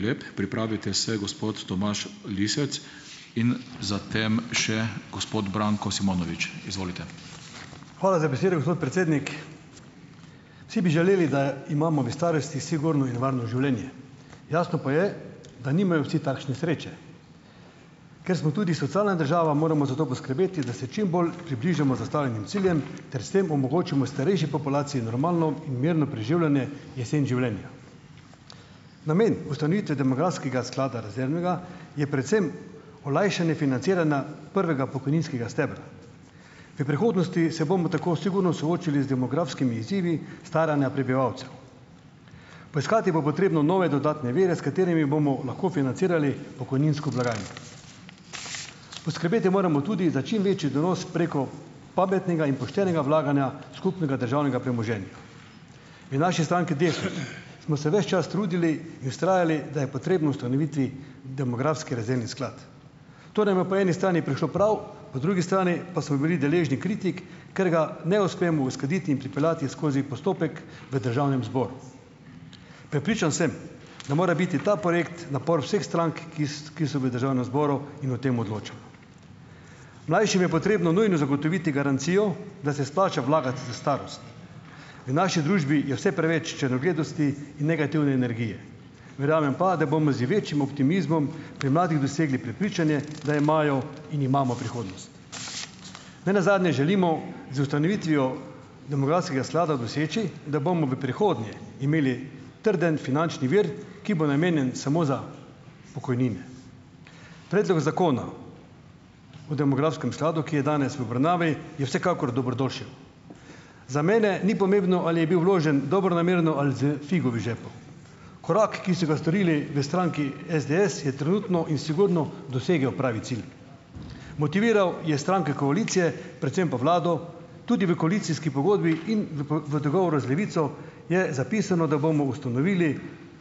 Hvala za besedo, gospod predsednik. Vsi bi želeli, da imamo v starosti sigurno in varno življenje. Jasno pa je, da nimajo vsi takšne sreče. Ker smo tudi socialna država, moramo za to poskrbeti, da se čim bolj približamo zastavljenim ciljem ter s tem omogočimo starejši populaciji normalno in mirno preživljanje jesen življenja. Namen ustanovitve demografskega sklada rezervnega je predvsem olajšanje financiranja prvega pokojninskega stebra. V prihodnosti se bomo tako sigurno soočili z demografskimi izzivi staranja prebivalcev. Poiskati bo potrebno nove dodatne vire, s katerimi bomo lahko financirali pokojninsko blagajno. Poskrbeti moramo tudi za čim večji donos preko pametnega in poštenega vlaganja skupnega državnega premoženja. V naši stranki Desus smo se ves čas trudili in vztrajali, da je potrebno ustanoviti demografski rezervni sklad. To nam je po eni strani prišlo prav, po drugi strani pa smo bili deležni kritik, ker ga ne uspemo uskladiti in pripeljati skozi postopek v državnem zboru. Prepričan sem, da mora biti ta projekt napor vseh strank, ki ki so v državnem zboru in o tem odločamo. Mlajšim je potrebno nujno zagotoviti garancijo, da se splača vlagati v starost. V naši družbi je vse preveč črnogledosti in negativne energije. Verjamem pa, da bomo z večjim optimizmom pri mladih dosegli prepričanje, da imajo in imamo prihodnost. Ne nazadnje želimo z ustanovitvijo demografskega sklada doseči, da bomo v prihodnje imeli trden finančni vir, ki bo namenjen samo za pokojnine. Zakona o demografskem skladu, ki je danes v obravnavi, je vsekakor dobrodošel. Za mene ni pomembno, ali je bil vložen dobronamerno ali s figo v žepu. Korak, ki so ga storili v stranki SDS, je trenutno in sigurno dosegel pravi cilj. Motiviral je stranke koalicije, predvsem pa vlado, tudi v koalicijski pogodbi in v v dogovoru z Levico, je zapisano, da bomo ustanovili